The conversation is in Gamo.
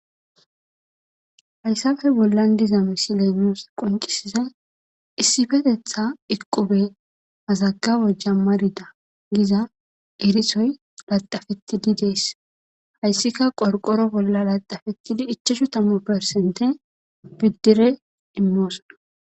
hayssafe bollan diza misileenoos qonqisiza issifetetha iqqube hazaga wojja marida giza erisoy laxafettidi dees hayssika qorqoro bolla laxafettidi ichachu tamu persente biddire immoosona